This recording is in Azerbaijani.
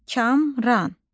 Kamran.